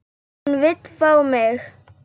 Hann vill fá mig.